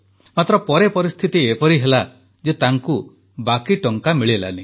ମାତ୍ର ପରେ ପରିସ୍ଥିତି ଏପରି ହେଲା ଯେ ତାଙ୍କୁ ବାକି ଟଙ୍କା ମିଳିଲା ନାହିଁ